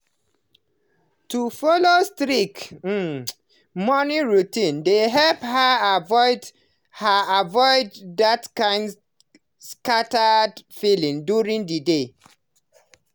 to follow strict um morning routine dey help her avoid that her avoid that kind scattered feeling during the day.